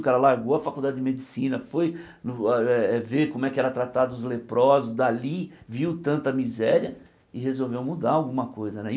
O cara largou a faculdade de medicina, foi no eh eh ver como era tratado os leprosos dalí, viu tanta miséria e resolveu mudar alguma coisa né e.